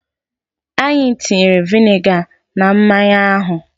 Anyị tinyere viniga na mmanya ahụ.